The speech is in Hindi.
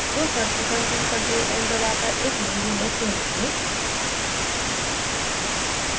तो सर्वप्रथम हम ctrl + n दबाकर एक नई window खोलेंगे